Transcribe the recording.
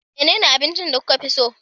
Menene abinci da kuka fi so?